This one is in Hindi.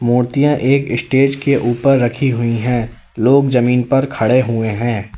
मूर्तियां एक स्टेज के ऊपर रखी हुई है लोग जमीन पर खड़े हुए हैं।